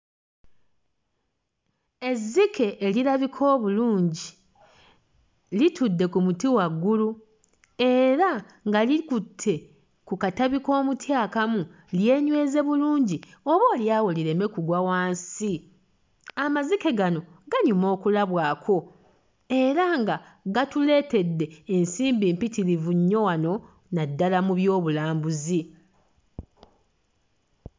Ezzike erirabika obulungi litudde ku muti waggulu era nga likutte ku katabi k'omuti akamu lyenyweze bulungi oboolyawo lireme kugwa wansi. Amazike gano ganyuma okulabwako era nga gatuleetedde ensimbi mpitirivu nnyo wano naddala mu byobulambuzi.